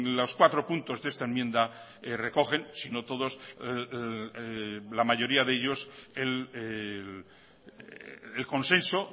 los cuatro puntos de esta enmienda recogen sino todos la mayoría de ellos el consenso